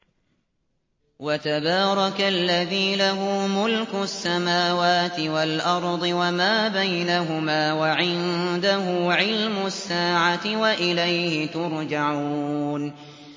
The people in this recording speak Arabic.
وَتَبَارَكَ الَّذِي لَهُ مُلْكُ السَّمَاوَاتِ وَالْأَرْضِ وَمَا بَيْنَهُمَا وَعِندَهُ عِلْمُ السَّاعَةِ وَإِلَيْهِ تُرْجَعُونَ